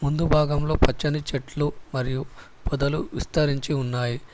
ముందు భాగంలో పచ్చని చెట్లు మరియు పొదలు విస్తరించి ఉన్నాయ్.